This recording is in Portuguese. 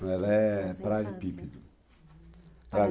Ela é praia de pípido